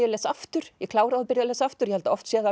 lesa aftur ég kláraði og byrjaði að lesa aftur ég held að oft sé það